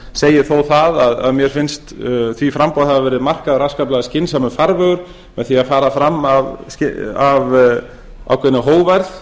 segi þó það að mér finnst því framboði hafa verið markaður afskaplega skynsamur farvegur með því að fara fram af ákveðinni hógværð